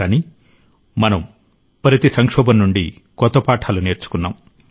కాని మనం ప్రతి సంక్షోభం నుండి కొత్త పాఠాలు నేర్చుకున్నాం